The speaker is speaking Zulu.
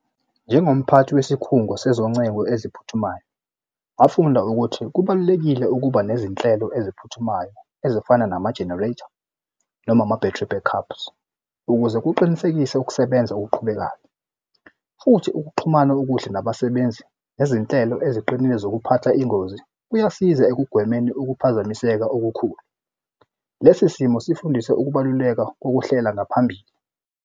Njengomphathi wesikhungo sezoncengo eziphuthumayo ngafunda ukuthi kubalulekile ukuba nezinhlelo eziphuthumayo ezifana nama-generator noma ama-battery backups ukuze kuqinisekise ukusebenza okuqhubekayo, futhi ukuxhumana okuhle nabasebenzi nezinhlelo eziqinile zokuphatha ingozi kuyasiza ekugwemeni ukuphazamiseka okukhulu. Lesi simo sifundise ukubaluleka kokuhlela ngaphambili.